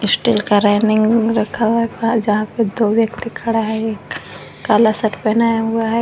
Steel का railing रखा हुआ है जहां पे दो व्यक्ति खड़ा है एक काला शर्ट पहना हुआ है।